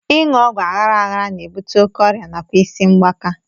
Ịṅụ ọgwụ aghara aghara na-ebute oké ọrịa nakwa isi mgbaaka